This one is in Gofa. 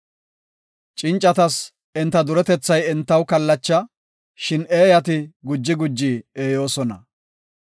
Cincatas enta duretethay entaw kallacha; shin eeyati guji guji eeyoosona.